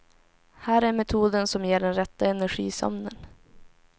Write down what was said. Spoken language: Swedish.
Här är metoden som ger den rätta energisömnen.